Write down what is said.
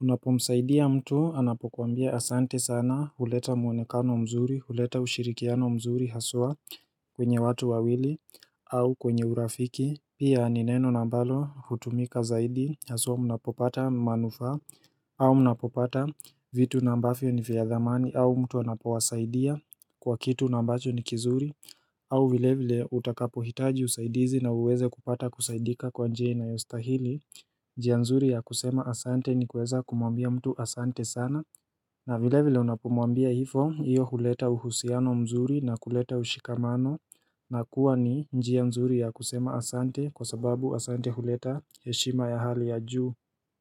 Unapomsaidia mtu, anapokuambia asante sana, huleta muonekano mzuri, huleta ushirikiano mzuri, haswa kwenye watu wawili au kwenye urafiki, pia ni neno na ambalo hutumika zaidi, haswa unapopata manufa au mnapopata vitu na ambavyo ni vya dhamani, au mtu anapowasaidia kwa kitu na ambacho ni kizuri au vile vile utakapohitaji usaidizi na uweze kupata kusaidika kwa njia inayostahili njia nzuri ya kusema Asante ni kuweza kumwambia mtu Asante sana na vile vile unapomwambia hivyo hiyo huleta uhusiano mzuri na kuleta ushikamano na kuwa ni njia nzuri ya kusema Asante kwa sababu Asante huleta heshima ya hali ya juu.